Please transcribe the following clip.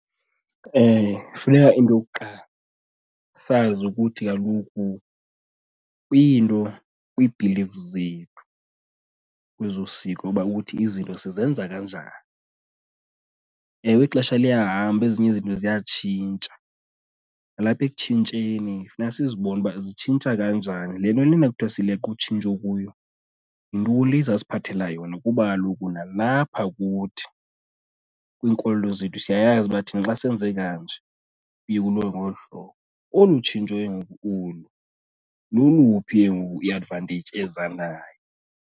Funeka into yokuqala sazi ukuthi kaloku kwiinto, kwii-beliefs zethu kwezosiko uba kuthi izinto sizenza kanjani. Ewe, ixesha liyahamba, ezinye izinto ziyatshintsha nalapha ekutshintsheni funeka sizibone uba zitshintsha kanjani. Le nto lena kuthiwa sileqa utshintsho kuyo, yintoni le iza siphathela yona? Kuba kaloku nalapha kuthi, kwiinkolo zethu siyayazi uba thina xa senze kanje kuye kuliwe ngolu hlobo. Olu tshintsho ke ngoku olu, loluphi ke ngoku i-advantage eza nayo?